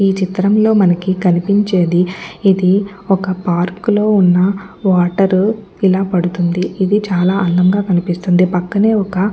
ఈ చిత్రంలో మనకి కనిపించేది ఇది ఒక పార్కు లో ఉన్న వాటర్ ఇలా పడుతుంది ఇది చాలా అందంగా కనిపిస్తుంది పక్కనే ఒక --